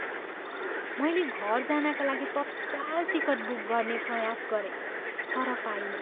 मैले घर जानका लागि तत्काल टिकट बुक गर्ने प्रयास गरेँ तर पाइनँ।